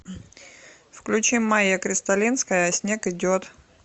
включи майя кристалинская а снег идет